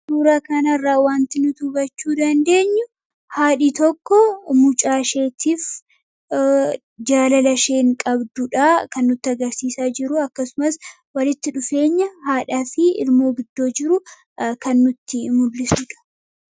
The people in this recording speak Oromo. Suuraa kanarraa waanti nuti hubachuu dandeenyu haadhi tokko mucaasheetiif jaalala isheen qabdudha kan nutti agarsiisaa jiru. Akkasumas walitti dhufeenya haadhaa fi ilmoo gidduu jiru kan nutti mul'isudha.